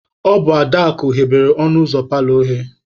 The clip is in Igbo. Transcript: Ọ bụ Adaakụ ghebelu ọnụ ụzọ paalọ oghe.